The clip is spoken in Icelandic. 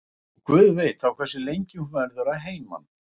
Og guð veit þá hversu lengi hún verður að heiman.